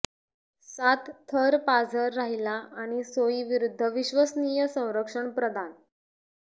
सात थर पाझर राहीला आणि सोई विरुद्ध विश्वसनीय संरक्षण प्रदान